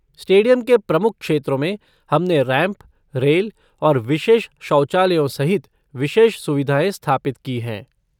Stadium के प्रमुख क्षेत्रों में, हमने रैंप, रेल और विशेष शौचालयों सहित विशेष सुविधाएँ स्थापित की हैं।